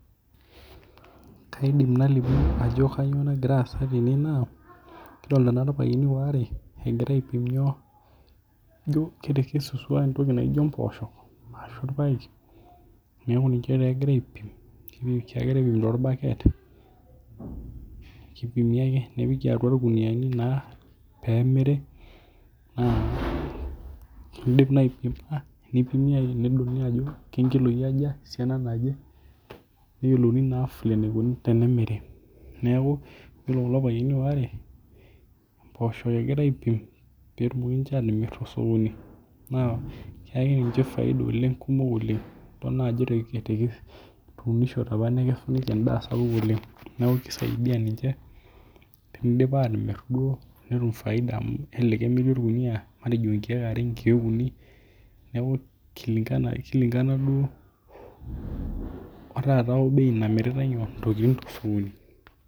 Kaidim nalimu ajo kanyoo nagira aasa tene naa kidolita naa irpayiani waare egira aipim nyoo, ijo ketekesutwa entoki naijo mboosho ashu irpaek. Neeku ninche taa egira aipim. Kegira aipim torbaket. Kipimi ake nepiki atwa irkunuyiani naa nemiri naa tenidip naai aipima nedoli ajo irkiloi aja, esiana naje, neyiolouni naa vile naikuni tenemiri. Neeku iyiolo kulo payiani waare mboosho egira aipim peetumoki ninche aatimirr tosokoni. Naa keaki ninche faida oleng, kumok oleng. Kidol naa ajo etuunishote opa nekesu endaa sapuk oleng. Neeku kisaidia ninche tenidip aatimirr duo netum faida amu kelelek emiri orkunuyia obo matejo nkiek are, nkiek uni kulingana duo taata o bei namiritae nyoo, ntokiting tesokoni